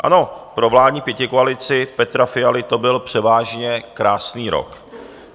Ano, pro vládní pětikoalici Petra Fialy to byl převážně krásný rok.